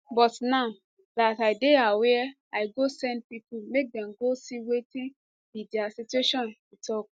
but now dat i dey aware i go send pipo make dem go see wetin be dia situation e tok